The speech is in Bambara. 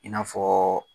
I n'a fɔ